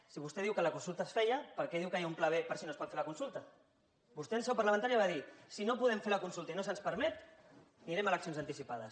si vostè diu que la consulta es farà per què diu que hi ha un pla b per si no es pot fer la consulta vostè en seu parlamentària va dir si no podem fer la consulta i no se’ns permet anirem a eleccions anticipades